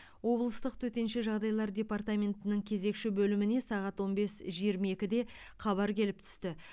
облыстық төтенше жағдайлар департаментінің кезекші бөліміне сағат он бес жиырма екіде хабар келіп түсті